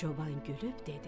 Çoban gülüb dedi: